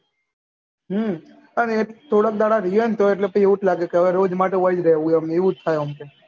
હમ પણ એજ થોડાક દહાડા રેહ્યા હોય તો એટલે પછી એવું લાગે રોજ માટે વહીજ રેહવું